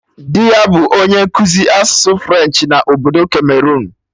Dị ya bụ onye nkụzi asụsụ French na obodo Cameroon